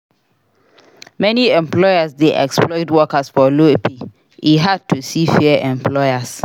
Many employers dey exploit workers for low pay. E hard to see fair employers.